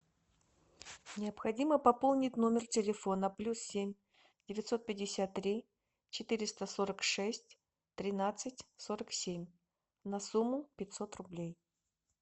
необходимо пополнить номер телефона плюс семь девятьсот пятьдесят три четыреста сорок шесть тринадцать сорок семь на сумму пятьсот рублей